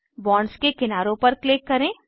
bonds के किनारों पर क्लिक करें